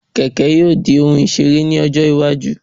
Kẹ̀kẹ́ yóò dí òhun isere lọ́jọ́ iwájú